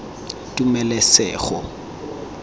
tumelesego